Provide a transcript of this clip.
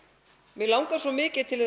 mig langar svo mikið til